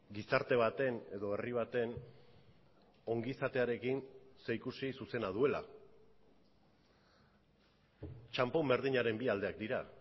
gizarte baten edo herri baten ongizatearekin zerikusi zuzena duela txanpon berdinaren bi aldeak dira